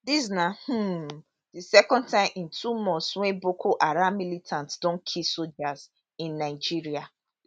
dis na um di second time in two months wey boko haram militants don kill sojas in in nigeria